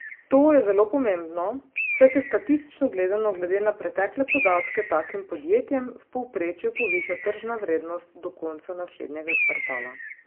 To je zelo pomembno, saj se statistično gledano glede na pretekle podatke takim podjetjem v povprečju poviša tržna vrednost do konca naslednjega kvartala.